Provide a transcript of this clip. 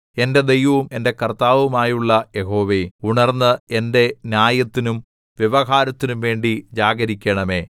എന്റെ ദൈവവും എന്റെ കർത്താവുമായുള്ള യഹോവേ ഉണർന്ന് എന്റെ ന്യായത്തിനും വ്യവഹാരത്തിനും വേണ്ടി ജാഗരിക്കണമേ